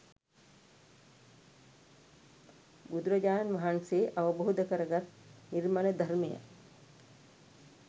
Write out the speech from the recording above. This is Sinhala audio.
බුදුරජාණන් වහන්සේ අවබෝධ කරගත් නිර්මල ධර්මය